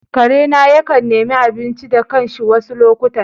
Karena yakan nemi abinci da kanshi wasu lokutan.